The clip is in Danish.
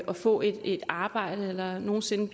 få et arbejde eller nogen sinde